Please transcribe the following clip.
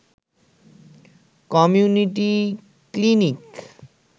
community clinic